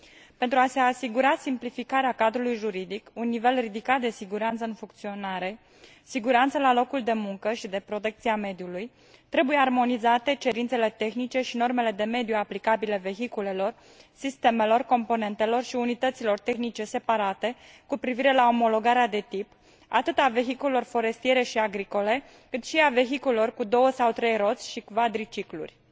Pentru a se asigura simplificarea cadrului juridic și un nivel ridicat de siguranță în funcționare, de siguranță la locul de muncă și de protecție a mediului, trebuie armonizate cerințele tehnice și normele de mediu aplicabile vehiculelor, sistemelor, componentelor și unităților tehnice separate cu privire la omologarea de tip atât a vehiculelor forestiere și agricole, cât și a vehiculelor cu două sau trei roți și a cvadriciclurilor.